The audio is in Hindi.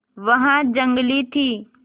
वह जंगली थी